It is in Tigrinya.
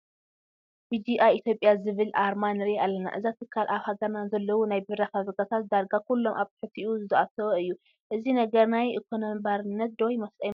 BGI Ethiopia ዝብል ኣርማ ንርኢ ኣለና፡፡ እዚ ትካል ኣብ ሃገርና ንዘለዉ ናይ ቢራ ፋብሪካታት ዳርጋ ኩሎም ኣብ ትሕቲኡ ዘእተወ እዩ፡፡ እዚ ነገር ናይ ኢኮነሚ ባርነት ዶ ኣይመስልን?